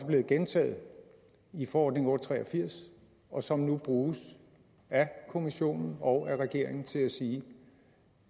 blevet gentaget i forordning og tre og firs og som nu bruges af kommissionen og af regeringen til at sige